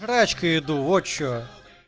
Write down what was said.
еду вот что